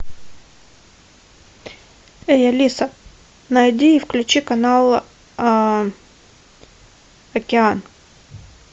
эй алиса найди и включи канал океан